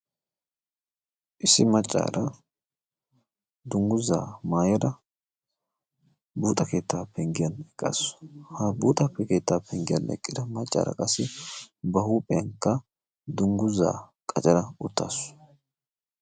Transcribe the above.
issi maccaara dungguzaa maayara buuxa keettaa penggiyan eqqaasu. ha buuxappi keettaa penggiyan leqqida maccaara qassi ba huuphiyankka dungguzaa qacara uttaasu.